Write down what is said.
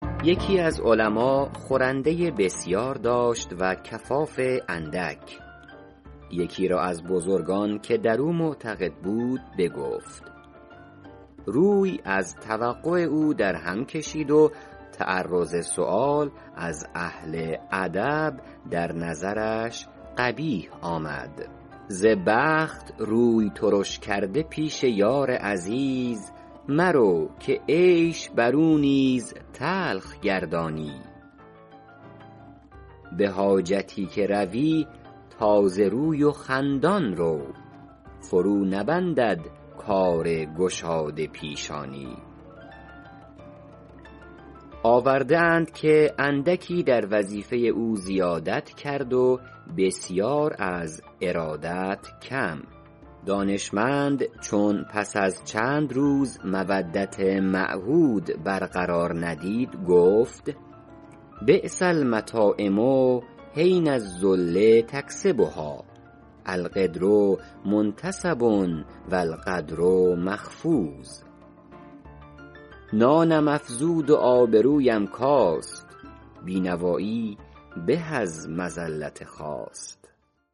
یکی از علما خورنده بسیار داشت و کفاف اندک یکی را از بزرگان که در او معتقد بود بگفت روی از توقع او در هم کشید و تعرض سؤال از اهل ادب در نظرش قبیح آمد ز بخت روی ترش کرده پیش یار عزیز مرو که عیش بر او نیز تلخ گردانی به حاجتی که روی تازه روی و خندان رو فرو نبندد کار گشاده پیشانی آورده اند که اندکی در وظیفه او زیادت کرد و بسیاری از ارادت کم دانشمند چون پس از چند روز مودت معهود بر قرار ندید گفت بیس المطاعم حین الذل یکسبها القدر منتصب و القدر مخفوض نانم افزود و آبرویم کاست بینوایی به از مذلت خواست